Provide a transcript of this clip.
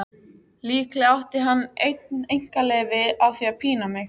Líklega átti hann einn einkaleyfi á því að pína mig.